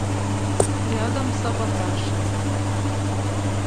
рядом саботаж